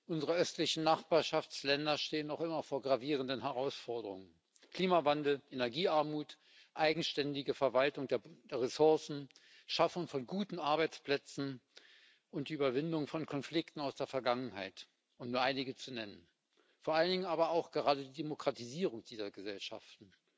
Unsere östlichen Nachbarschaftsländer stehen noch immer vor gravierenden Herausforderungen Klimawandel, Energiearmut, eigenständige Verwaltung der Ressourcen, Schaffung von guten Arbeitsplätzen und Überwindung von Konflikten aus der Vergangenheit, um nur einige zu nennen, vor allen Dingen aber auch Demokratisierung dieser Gesellschaften.